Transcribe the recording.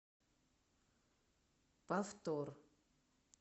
повтор